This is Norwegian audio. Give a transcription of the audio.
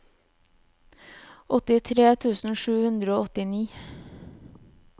åttitre tusen sju hundre og åttini